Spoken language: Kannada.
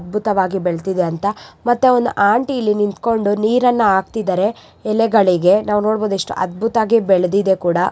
ಅದ್ಭುತವಾಗಿ ಬೆಳೆದಿದೆ ಅಂತ ಮತ್ತೆ ಒಂದು ಆಂಟಿ ಇಲ್ಲಿ ನಿಂತ್ಕೊಂಡು ನೀರನ್ನು ಹಾಕ್ತಿದ್ದಾರೆ ಎಲೆಗಳಿಗೆ ನಾವು ನೋಡಬಹುದು ಎಷ್ಟು ಅದ್ಭುತವಾಗಿ ಬೆಳೆದಿದೆ.